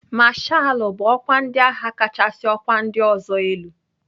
Mashalụ bụ ọkwa ndị agha kachasị ọkwa ndị ọzọ elu.